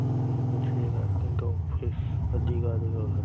यह कुछ लोगों का ऑफिस दीवा --